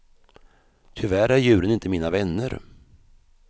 Tyvärr är djuren inte mina vänner.